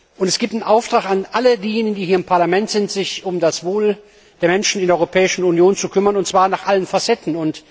Und es gibt einen Auftrag an alle hier im Parlament, sich um das Wohl der Menschen in der Europäischen Union zu kümmern, und zwar in allen Facetten.